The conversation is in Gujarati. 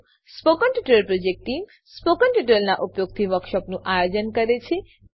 spoken tutorial project team spoken ટ્યુટોરીયલોનાં ઉપયોગથી વર્કશોપોનું આયોજન કરે છે